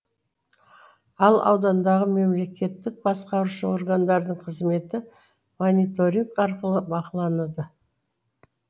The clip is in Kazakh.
ал аудандағы мемлекеттік басқарушы органдардың қызметі мониторинг арқылы бақыланады